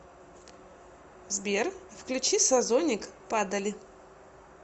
сбер включи созоник падали